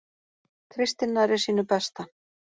Kristinn nærri sínu besta